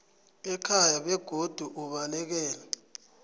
ekhaya begodu ubalekele